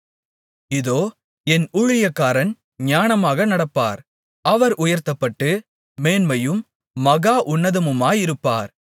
இதோ என் ஊழியக்காரன் ஞானமாக நடப்பார் அவர் உயர்த்தப்பட்டு மேன்மையும் மகா உன்னதமுமாயிருப்பார்